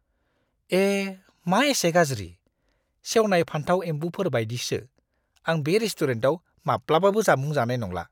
ए! मा एसे गाज्रि! सेवनाय फानथाव-एमबुफोर बायदिसो, आं बे रेस्टुरेन्टाव माब्लाबाबो जामुं जानाय नंला!